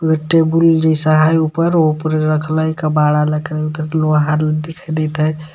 एगो टेबुल जईसा हय ऊपर उपरे रखले दिखाई देत हय.